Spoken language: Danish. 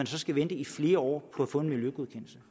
så skal vente i flere år på at få en miljøgodkendelse